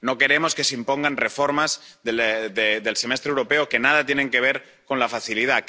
No queremos que se impongan reformas del Semestre Europeo que nada tienen que ver con el mecanismo.